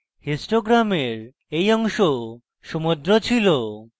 histogram এই অংশ সমুদ্র ছিল